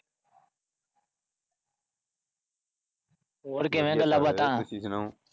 ਤੁਸੀਂ ਸੁਣਾਓ?